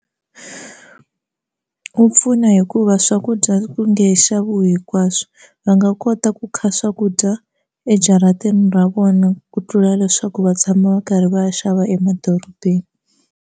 Wu pfuna hikuva swakudya ku nge he xaviwi hinkwaswo va nga kota ku kha swakudya ejarateni ra vona ku tlula leswaku va tshama va karhi va ya xava emadorobeni.